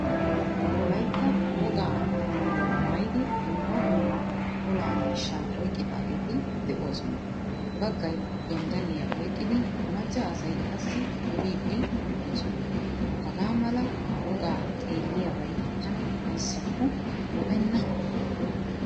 Wolaytta wogaa maayuwaa maayidi dumma dumma ola miishshaa oyqqidageti deosona. Baggaay gonddaliyaa oyqqidi macca asay qassi duridi deosona. Hagaa mala wogaa xeeliyabay tana ayssako lo'enna.